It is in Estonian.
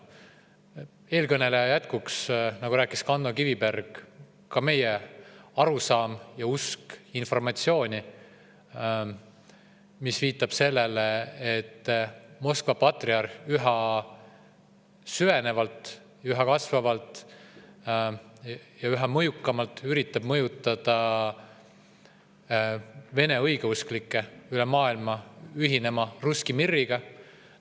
Jätkuks eelkõneleja Ando Kivibergi ka meie arusaam on selline – me usume informatsiooni, mis sellele viitab –, et Moskva patriarh üha süvenevalt, üha kasvavalt ja üha mõjukamalt üritab mõjutada vene õigeusklikke üle maailma ühinema russki mir'iga.